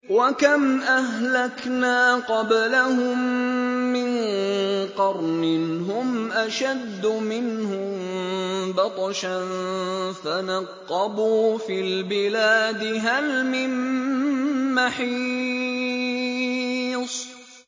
وَكَمْ أَهْلَكْنَا قَبْلَهُم مِّن قَرْنٍ هُمْ أَشَدُّ مِنْهُم بَطْشًا فَنَقَّبُوا فِي الْبِلَادِ هَلْ مِن مَّحِيصٍ